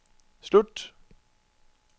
slut